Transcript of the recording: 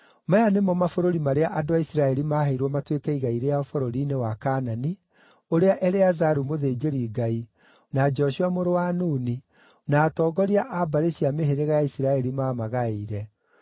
Maya nĩmo mabũrũri marĩa andũ a Isiraeli maheirwo matuĩke igai rĩao bũrũri-inĩ wa Kaanani, ũrĩa Eleazaru mũthĩnjĩri-Ngai, na Joshua mũrũ wa Nuni, na atongoria a mbarĩ cia mĩhĩrĩga ya Isiraeli maamagaĩire.